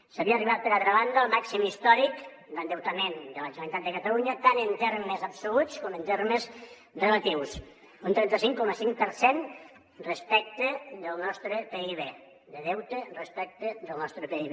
s’havia arribat per altra banda al màxim històric d’endeutament de la generalitat de catalunya tant en termes absoluts com en termes relatius un trenta cinc coma cinc per cent respecte del nostre pib de deute respecte del nostre pib